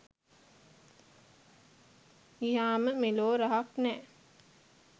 ගියාම මෙලෝ රහක් නැ